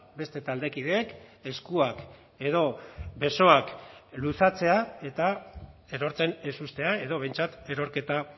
beste taldekideek eskuak edo besoak luzatzea eta erortzen ez uztea edo behintzat erorketa